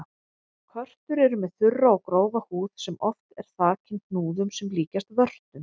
Körtur eru með þurra og grófa húð sem oft er þakin hnúðum sem líkjast vörtum.